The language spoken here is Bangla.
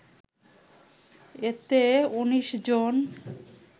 এতে ১৯ জন